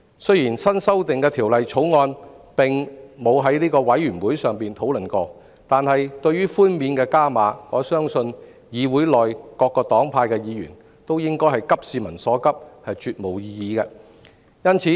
雖然新修訂的《條例草案》並未交由法案委員會討論，但對於上調的寬免額，我相信議會內各黨派議員也會急市民所急，絕無異議。